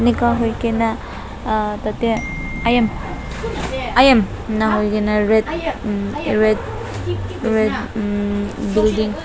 iga huigena ahh tateh inika huigena umm red red red umm building .